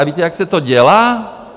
A víte, jak se to dělá?